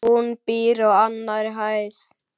Hún býr á annarri hæð.